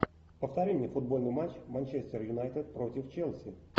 повтори мне футбольный матч манчестер юнайтед против челси